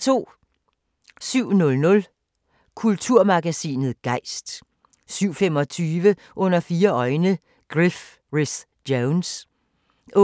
07:00: Kulturmagasinet Gejst 07:25: Under fire øjne – Griff Rhys Jones 08:15: